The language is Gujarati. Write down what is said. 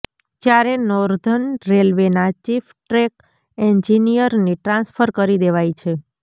જ્યારે નોર્ધન રેલવેના ચીફ ટ્રેક એન્જિનિયરની ટ્રાન્સફર કરી દેવાઈ છે